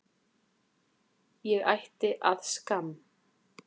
Ég ætti að skamm